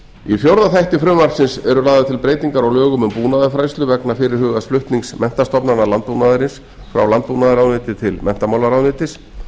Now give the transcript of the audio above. í fjórða þætti frumvarpsins eru lagðar til breytingar á lögum um búnaðarfræðslu vegna fyrirhugaðs flutnings menntastofnana landbúnaðarins frá landbúnaðarráðuneyti til menntamálaráðuneytis